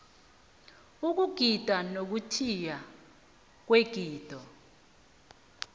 ukugida nokuthiywa kwegido